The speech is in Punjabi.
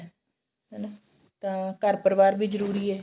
ਹਨਾ ਤਾਂ ਘਰ ਪਰਿਵਾਰ ਵੀ ਜਰੂਰੀ ਏ